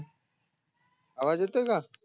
आवाज येतोय काय